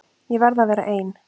Ég verð að vera ein.